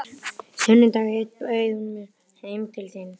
Sunnudag einn bauð hún mér heim til sín.